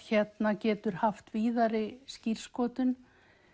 getur haft víðari skírskotun